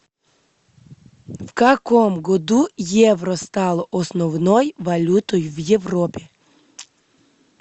в каком году евро стало основной валютой в европе